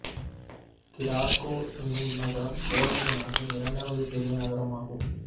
கிராக்கோ என்னும் நகரம் போலந்து நாட்டின் இரண்டாவது பெரிய நகரம் ஆகும்